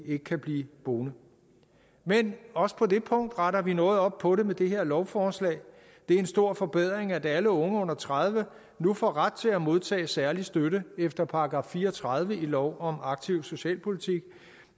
ikke kan blive boende men også på det punkt retter vi noget op på det med det her lovforslag det en stor forbedring at alle unge under tredive år nu får ret til at modtage særlig støtte efter § fire og tredive i lov om aktiv socialpolitik